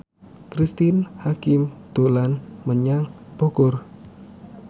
Cristine Hakim dolan menyang Bogor